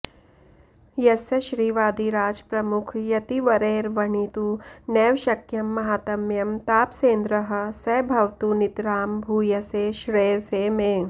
यस्य श्रीवादिराज प्रमुख यतिवरैर्वणितु नैव शक्यं माहात्म्यं तापसेन्द्रः स भवतु नितरां भूयसे श्रेयसे मे